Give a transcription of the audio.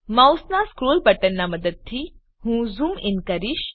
માઉસનાં scroll બટનનાં મદદથી હું ઝૂમ ઇન કરીશ